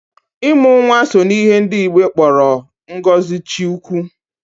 Ịmụ nwa so n'ihe ndị Igbo kpọrọ ngozi Chiukwu.